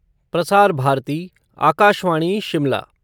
Prasar Bharati Akashvani Shimla